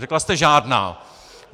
Řekla jste žádná!